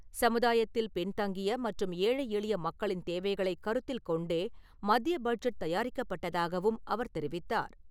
சமுதாயத்தில் பின்தங்கிய மற்றும் ஏழை எளிய மக்களின் தேவைகளைக் கருத்தில் கொண்டே மத்திய பட்ஜெட் தயாரிக்கப்பட்டதாகவும் அவர் தெரிவித்தார்.